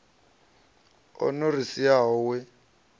o no ri siaho we